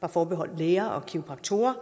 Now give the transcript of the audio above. var forbeholdt læger og kiropraktorer